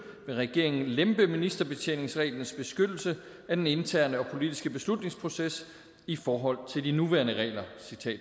vil regeringen lempe ministerbetjeningsreglens beskyttelse af den interne og politiske beslutningsproces i forhold til de nuværende regler